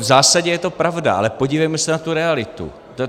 V zásadě je to pravda, ale podívejme se na tu realitu.